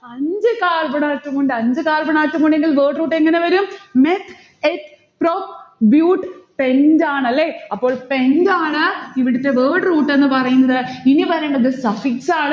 അഞ്ചു carbon atom ഉണ്ട്. അഞ്ചു carbon atom ഉണ്ടെങ്കിൽ word root എങ്ങനെ വരും? meth eth prop bute pent ആണല്ലേ. അപ്പോൾ pent ആണ് ഇവിടുത്തെ word root എന്ന് പറയുന്നത്. ഇനി വരേണ്ടത് suffix ആണ്.